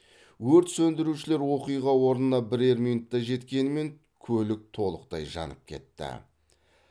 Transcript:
өрт сөндірушілер оқиға орнына бірер минутта жеткенімен көлік толықтай жанып кетті